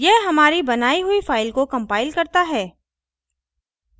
यह हमारी बनाई हुई फ़ाइल को compiles करता है